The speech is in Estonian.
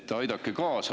Aidake kaasa!